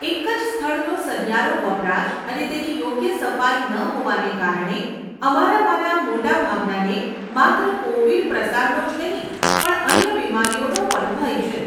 એક જ સ્થળનો સહિયારો વપરાશ અને તેની યોગ્ય સફાઈ ન હોવાને કારણે અમારામાંના મોટા ભાગનાને માત્ર કોવીડ પ્રસારનો જ નહીં, પણ અન્ય બીમારીઓનો પણ ભય છે.